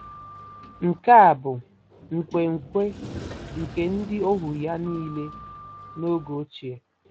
Nke a bụ nkwenkwe nke ndị ohu ya nile n'oge ochie.